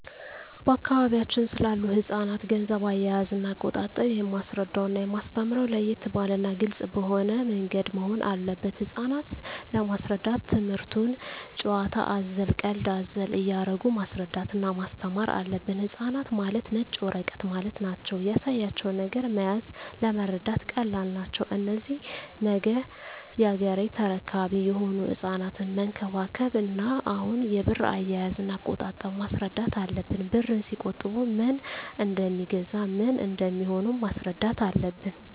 በአካባቢያችን ስላሉ ህጻናት ገንዘብ አያያዝና አቆጣጠብ የማስረዳውና የማስተምረው ለየት ባለና ግልጽ በሆነ ምንገድ መሆን አለበት ህጻናት ለመሰረዳት ትምክህቱን ጭዋታ አዘል ቀልድ አዘል እያረጉ ማስረዳት እና ማስተማር አለብን ህጻናት ማለት ነጭ ወረቀት ማለት ናቸው ያሳያቸው ነገር መያዝ ለመረዳት ቀላል ናቸው እነዚህ ነገ ያገሬ ተረካቢ የሆኑ ህጻናትን መንከባከብ እና አሁኑ የብር አያያዥ እና አቆጣጠብ ማስረዳት አለብን ብርን ሲቆጥቡ ምን እደሜገዛ ምን እንደሚሆኑም ማስረዳት አለብን